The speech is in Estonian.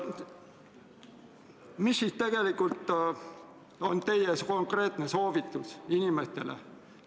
Mis ikkagi tegelikult on teie konkreetne soovitus inimestele?